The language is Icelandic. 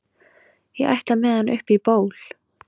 ég ætla með hann upp í ból